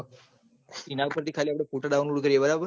ઇના ઉપર થી ખાલી આપડે photodownlod કરી એ બરાબર